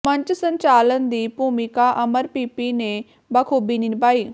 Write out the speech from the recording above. ਮੰਚ ਸੰਚਾਲਨ ਦੀ ਭੂਮਿਕਾ ਅਮਰ ਪੀਪੀ ਨੇ ਬਾਖੂਬੀ ਨਿਭਾਈ